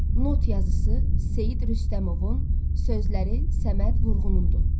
Not yazısı Seyid Rüstəmovun, sözləri Səməd Vurğunundur.